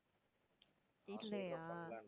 இல்லையா?